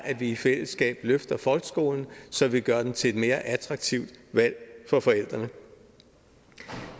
at vi i fællesskab løfter folkeskolen så vi gør den til et mere attraktivt valg for forældrene